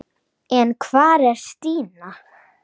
En hvar var Stína?